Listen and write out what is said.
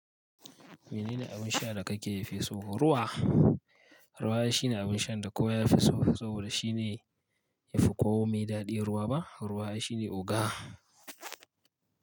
Menene abin sha da ka ke fi so? Ruwa. Ruwa shine abin shan da kowa ya fi so, saboda shi ne yafi komi daɗi. Ruwa ba ruwa ai shine oga.